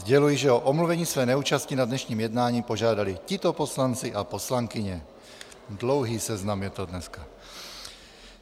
Sděluji, že o omluvení své neúčasti na dnešním jednání požádali tito poslanci a poslankyně - dlouhý seznam je to dneska.